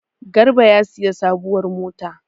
Garba ya sayi sabuwar mota.